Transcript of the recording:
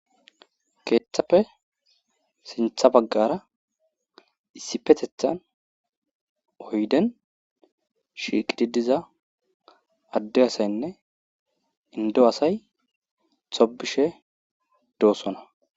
Keeththappe sintha baggara issi petethan oyden shiiqididiza adde asaynne indo asay tobishe doossona